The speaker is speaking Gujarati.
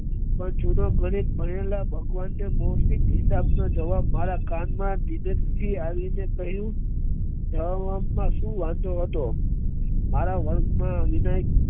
પણ જુનો ગણિત ભણેલા ભગવાન ના બૌધિક હિસાબ નો જવાબ મારા કાન માં ધીરેથી આવી ને કહ્યું શું વાંધો હતો મારા વન વિનય